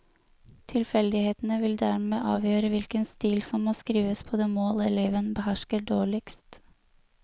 Tilfeldighetene vil dermed avgjøre hvilken stil som må skrives på det mål eleven behersker dårligst.